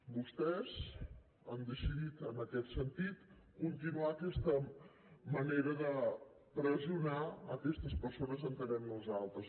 vostès han decidit en aquest sentit continuar aquesta manera de pressionar aquestes persones entenem nosaltres